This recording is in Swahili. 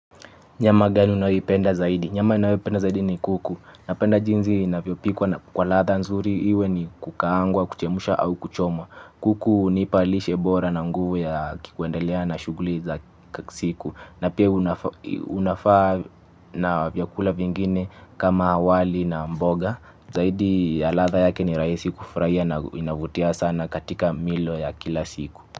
Nyama gani unaipenda zaidi? Nyama naipenda zaidi ni kuku. Napenda jinzi inavyopikwa na kwa latha nzuri iwe ni kukaangwa, kuchemusha au kuchomwa. Kuku unipalishe bora na nguvu ya kikuendelea na shuguli za siku. Na pia unafaa na vyakula vingine kama awali na mboga. Zaidi ya latha yake ni raisi kufraia na inavutia sana katika milo ya kila siku.